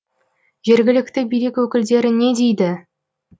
жергілікті билік өкілдері не дейді